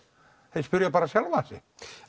þeir spyrja bara sjálfan sig